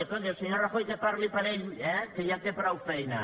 escolti el senyor rajoy que parli per ell eh que ja té prou feina